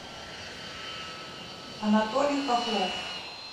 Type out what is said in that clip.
анатолий хохлов